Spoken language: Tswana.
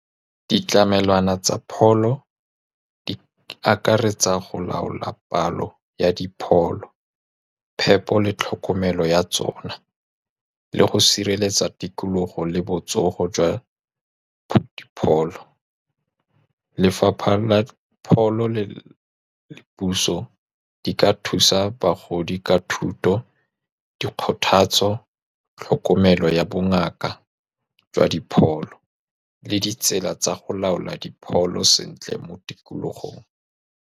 Ditlamelwana tsa pholo di akaretsa go laola palo ya dipholo, phepo le tlhokomelo ya tsona, le go sireletsa tikologo le botsogo jwa pholo. Lefapha la pholo le-le puso di ka thusa bagodi ka thuto, dikgothatso, tlhokomelo ya bongaka jwa dipholo, le ditsela tsa go laola dipholo sentle mo tikologong.